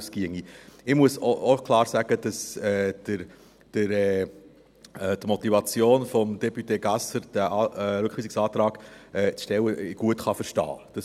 Ich muss auch klar sagen, dass ich die Motivation von député Gasser, diesen Rückweisungsantrag zu stellen, gut verstehen kann.